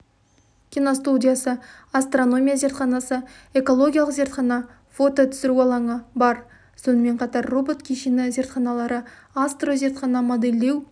киностудиясы астрономия зертханасы экологиялық зертхана фото түсіру алаңы бар сонымен қатар роботкешені зертханалары астрозертхана модельдеу